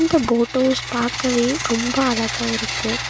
இந்த boat house பாக்கவே ரொம்ப அழகா இருக்கு.